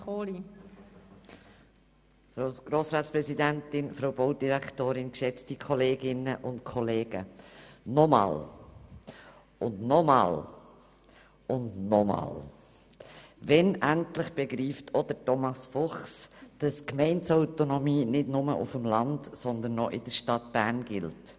Noch einmal und noch einmal und noch einmal – wann endlich begreift auch Thomas Fuchs, dass die Gemeindeautonomie nicht nur auf dem Land, sondern auch in der Stadt Bern gilt?